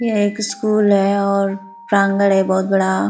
ये एक स्कूल है और प्रांगड़ है बहुत बड़ा --